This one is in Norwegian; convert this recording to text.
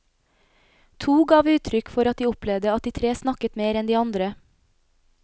To gav uttrykk for at de opplevde at de tre snakket mer enn de andre.